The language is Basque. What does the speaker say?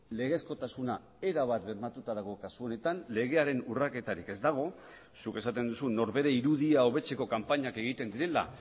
legezkotasuna erabat bermatuta dago kasu honetan legearen urraketarik ez dago zuk esaten duzu norbere irudia hobetzeko kanpainak egiten direla